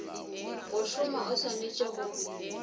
go šoma o swanetše go